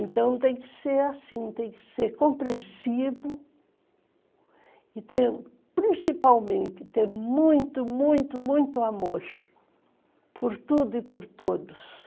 Então, tem que ser assim, tem que ser compreensivo e ter, principalmente, ter muito, muito, muito amor por tudo e por todos.